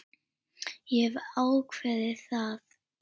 Ég hef ákveðið það.